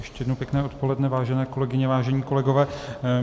Ještě jednou pěkné odpoledne, vážené kolegyně, vážení kolegové.